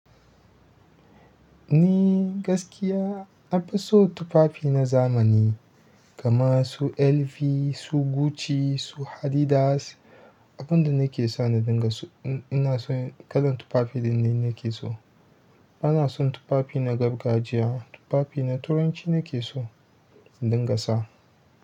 Ni gaskiya nafison tufafi na zamani kaman su LV, su Gucci, su Adidas. Abunda nake so na dinga so ina son kalan tufafi ɗinnan nake so. Bana son tufafi na gargajiya. Tufafi na turanci nake so in dinga sa.